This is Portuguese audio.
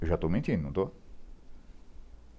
Eu já estou mentindo, não estou?